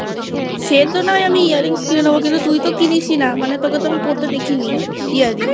সে তো না হয় আমি Earrings কিনে নেবো কিন্তু তুই তো কিনিসি না তোকে তো আমি পড়তে দেখি নি Earrings।